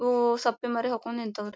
ಓ ಸಪ್ಪೆ ಮರೆ ಹಾಕೋನ್ ನಿಂತ್ವ್ ರೀ.